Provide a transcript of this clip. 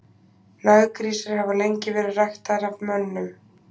Naggrísir hafa lengi verið ræktaðir af mönnum.